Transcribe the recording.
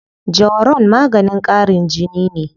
Jawaron maganin ƙarin jini ne.